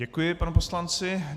Děkuji panu poslanci.